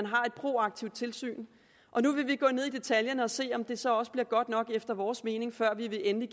proaktivt tilsyn og nu vil vi gå ned i detaljen og se om det så også bliver godt nok efter vores mening før vi endelig